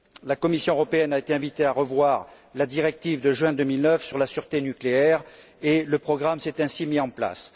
La Commission européenne a été invitée à revoir la directive de juin 2009 sur la sûreté nucléaire et le programme s'est ainsi mis en place.